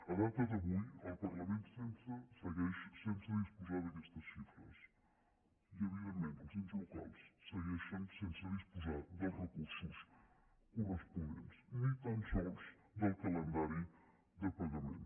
a data d’avui el parlament segueix sense disposar d’aquestes xifres i evidentment els ens locals segueixen sense disposar dels recursos corresponents ni tan sols del calendari de pagament